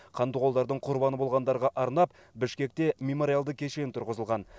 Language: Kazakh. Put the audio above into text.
қандықолдардың құрбаны болғандарға арнап бішкекте мемориалды кешен тұрғызылған